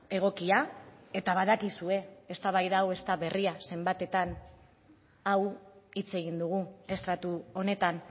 egokia eta badakizue eztabaida hau ez da berria eenbatetan hau hitz egin dugu estratu honetan